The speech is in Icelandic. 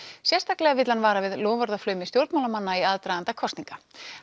sérstaklega vill hann vara við loforðaflaumi stjórnmálamanna í aðdraganda kosninga